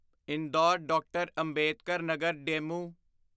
Indore DR. Ambedkar Nagar DEMU